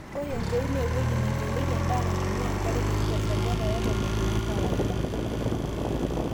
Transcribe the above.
ore empeut naa ewueji neing'ilieki edaa naitumia enkare kiti te sajata e tomon tene kawaida